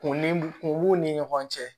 Kun b'u ni ɲɔgɔn cɛ